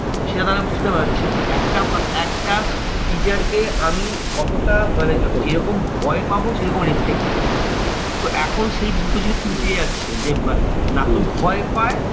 সেটা তারা বুঝতে পারছে না একটা একটা teacher কে আমি কতটা মানে যেরকম ভয় পাবো সেরকম respect করবো। তো এখন সেই দুটো জিনিসই উঠে গেছে যে না তো ভয় পায়,